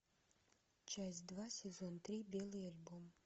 часть два сезон три белый альбом